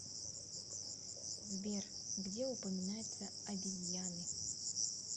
сбер где упоминается обезьяны